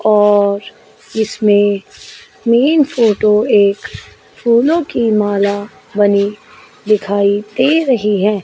और इसमें main photo एक फूलों की माला बनी दिखाई दे रही है।